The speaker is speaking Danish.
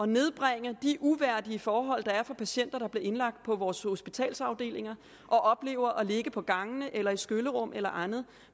nedbringe de uværdige forhold der er for patienter der bliver indlagt på vores hospitalsafdelinger og oplever at ligge på gangene eller i skyllerum eller andre